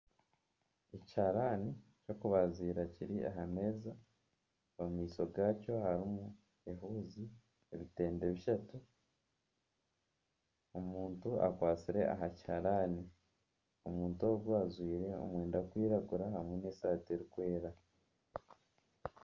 Ekiharaani ky'okubazira kiri aha meeza omu maisho gaakyo harimu ehuuzi, ebitengye bishatu. Omuntu akwatsire aha kihaarani, omuntu ogwe ajwaire omwenda gurikwiragura hamwe n'esaati erikwera.